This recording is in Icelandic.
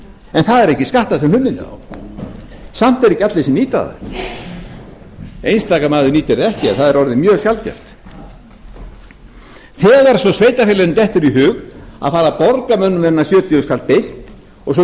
en það er ekki skattað sem hlunnindi samt nýta það ekki allir einstaka maður nýtir það ekki en það er orðið mjög sjaldgæft þegar svo sveitarfélaginu dettur í hug að fara að borga mönnum þennan sjötíu þúsund kall beint og svo getur það ráðið hvort